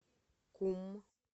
кум